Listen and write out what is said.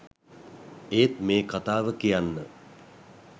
ඒත් මේ කතාව කියන්න